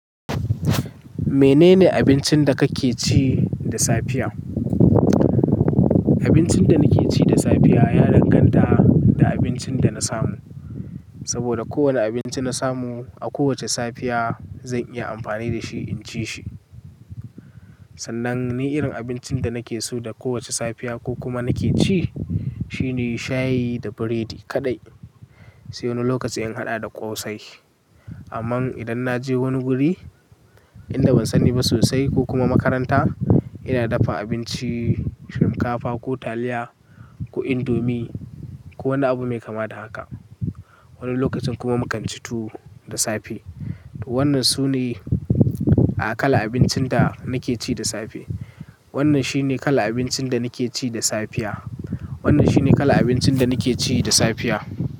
Menene abincin da kake ci da safiya? Abincin da nake ci da safiya ya danganta da abincin da na samu. Saboda kowani abinci na samu a kowace safiya zan iya amfani da shi in ci shi. Sannan ni irin abincin da nake so da kowace safiya ko kuma nake ci, shine shayi da biredi kaɗai. Sai wani lokaci in haɗa da ƙosai. Amman idan na je wani guri inda ban sani ba sosai ko kuma makaranta, ina dafa abinci shinkafa ko taliya ko indomi ko wani abu mai kama da haka. Wani lokacin kuma mu kan ci tuwo da safe. Wannan sune aƙalan abincin da nake ci da safe. Wannan shine kalan abincin da nake ci da safiya. Wannan shine kalan abincin da nake ci da safiya.